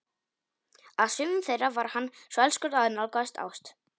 Að sumum þeirra var hann svo elskur að nálgaðist ást.